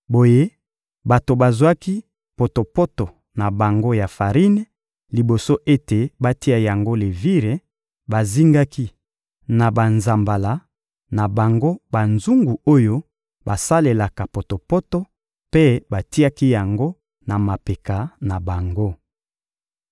Boye bato bazwaki potopoto na bango ya farine liboso ete batia yango levire, bazingaki na banzambala na bango banzungu oyo basalelaka potopoto mpe batiaki yango na mapeka na bango.